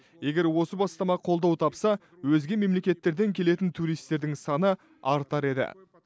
егер осы бастама қолдау тапса өзге мемлекеттерден келетін туристердің саны артар еді